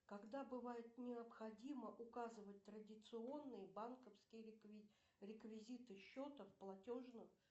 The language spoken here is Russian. когда бывает необходимо указывать традиционные банковские реквизиты счета в платежном